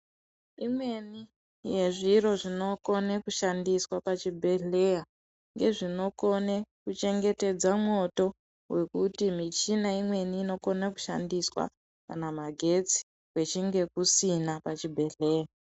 Imweni yezviro zvinokone kushandiswa pachibhehleya ngezvinokone kuchengetedza mwoto wekuti michina imweni inokona kushandiswa kana magetsi kuchinge kusina pachibhehleya.